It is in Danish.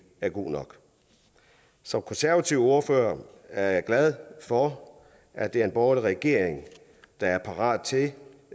er god nok som konservativ ordfører er jeg glad for at vi har en borgerlig regering der er parat til